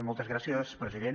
moltes gràcies president